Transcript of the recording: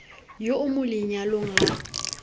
yo o mo lenyalong la